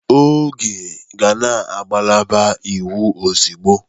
Oge, gaa na ngalaba iwu ozugbo!